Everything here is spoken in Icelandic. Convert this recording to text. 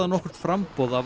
nokkurt framboð af